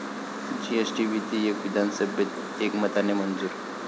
GST विधेयक विधानसभेत एकमताने मंजूर